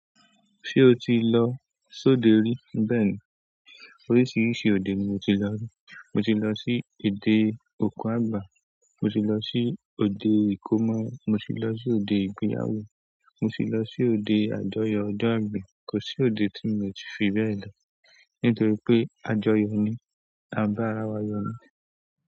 Ṣé o ti lọ sóde rí? Bẹ́ẹ̀ni. Oríṣiríṣi òde ni mo ti lọ rí. Mo ti lọ sí ode ọku àgbà, mo ti lọ sí òde ìkómọ́, mo ti lọ sí òde ìgbéyàwó, mo ti lọ sí òde àjọyọ̀ ọjọ́ ìbí. Kò sí òde tí mo ti fi bẹ́ẹ̀ lọ nítorí pé àjọyọ̀ ni, àbárá wa yọ ni.